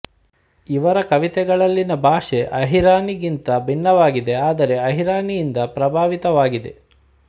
ಇವರ ಕವಿತೆಗಳಲ್ಲಿನ ಭಾಷೆ ಅಹಿರಾನಿಗಿಂತ ಭಿನ್ನವಾಗಿದೆ ಆದರೆ ಅಹಿರಾನಿಯಿಂದ ಪ್ರಭಾವಿತವಾಗಿದೆ